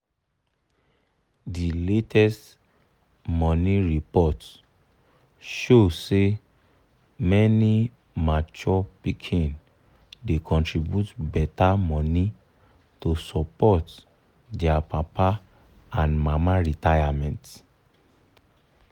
the latest money report show say many mature pikin da contribute better money to support their papa and mama retirement.